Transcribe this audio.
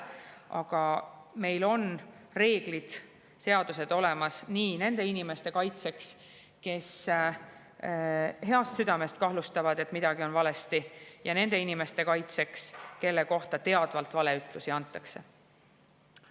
Aga meil on reeglid ja seadused olemas nii nende inimeste kaitseks, kes heast südamest kahtlustavad, et midagi on valesti, kui ka nende kaitseks, kelle kohta teadvalt valeütlusi antakse.